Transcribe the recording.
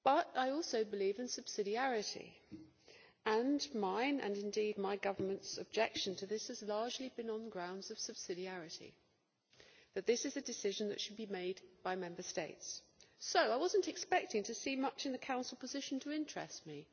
I also believe in subsidiarity and my and indeed my government's objection to this has largely been on the grounds of subsidiarity, and that this is a decision that should be made by Member States. So I was not expecting to see much in the Council position to interest me.